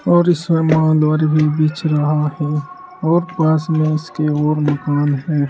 और इसमें मांन्दवारी भी बीच रहा है और पास में इसके और मकान है।